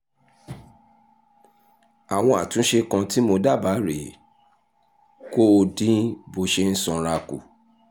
àwọn àtúnṣe kan tí mo dábàá rè é: kó o dín bó o ṣe sanra kù